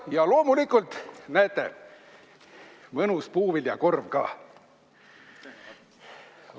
Ja loomulikult, näete, mõnus puuviljakorv ka.